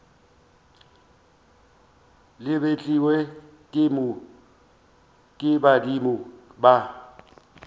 le betlilwe ke badimo ba